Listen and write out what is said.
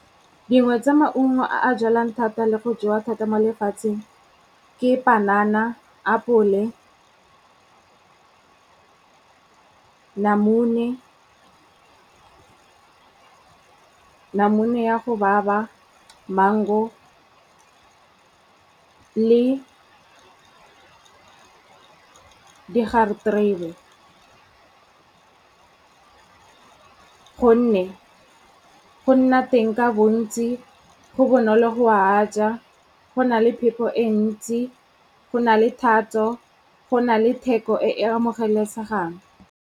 Dingwe tsa maungo a a jalwang thata le go jewa thata mo lefatsheng, ke panana, apole, namune, namune ya go baba, mango le digareterebe. Gonne, go nna teng ka bontsi, go bonolo go a ja, go na le phepo e ntsi, go na le thatso, go na le theko e amogelesegang.